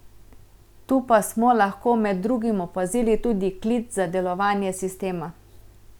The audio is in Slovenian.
Tu pa smo lahko med drugim opazili tudi klic za delovanje sistema.